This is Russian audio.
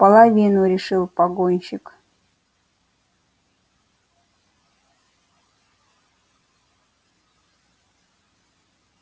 половину решил погонщик